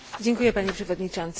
Panie Przewodniczący!